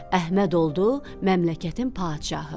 Əhməd oldu məmləkətin padşahı.